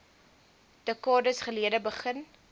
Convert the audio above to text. dekades gelede begin